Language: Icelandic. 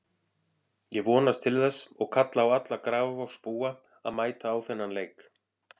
Ég vonast til þess og kalla á alla Grafarvogsbúa að mæta á þennan leik.